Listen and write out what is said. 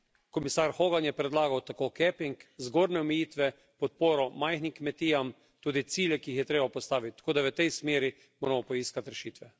Komisar Howard je predlagal capping, zgornje omejitve, podporo majhnim kmetijam, tudi ciljem, ki jih je treba postaviti, tako da v tej smeri moramo poiskati rešitve.